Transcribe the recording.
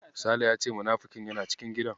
Sale ya ce munafikin yana cikin gidan.